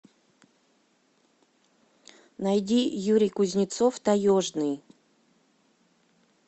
найди юрий кузнецов таежный